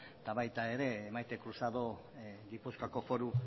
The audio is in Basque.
eta baita ere maite cruzado gipuzkoako foru